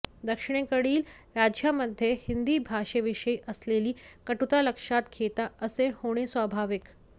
दक्षिणेकडील राज्यांमध्ये हिंदी भाषेविषयी असलेली कटुता लक्षात घेता असे होणे स्वाभाविक